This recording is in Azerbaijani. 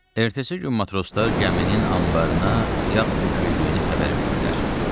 Ertəsi gün matroslar gəminin anbarına yağ töküldüyünü xəbər verdilər.